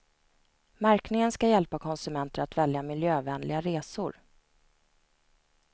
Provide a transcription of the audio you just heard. Märkningen ska hjälpa konsumenter att välja miljövänliga resor.